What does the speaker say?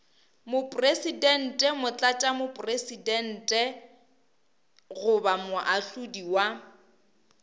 mopresidente motlatšamopresidente goba moahlodi wa